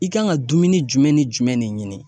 I kan ka dumuni jumɛn ni jumɛn de ɲini.